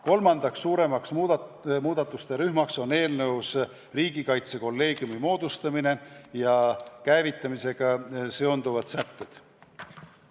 Kolmandaks suuremaks muudatuste rühmaks on riigikaitsekolleegiumi moodustamise ja käivitamisega seotud sätted.